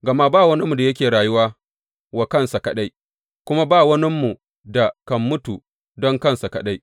Gama ba waninmu da yake rayuwa wa kansa kaɗai, kuma ba waninmu da kan mutu don kansa kaɗai.